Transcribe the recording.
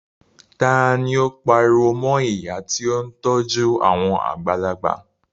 Ta ni ó pariwo mọ ìyá tí ó ń tọ́jú àwọn àgbàlagbà?